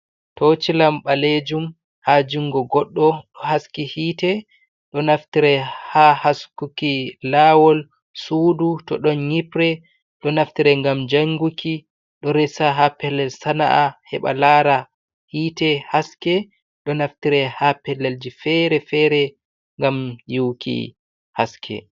Tocilam ɓaleejum haa junngo goɗɗo ɗo haski hiite, ɗo naftira haa haskuki lawol, suudu to ɗon nyiɓre, ɗo naftire ngam jannguki ɗo resa haa pellel sana'a heɓa laara hiite haske ɗo naftire haa pellelji fere-fere ngam yi'uki haske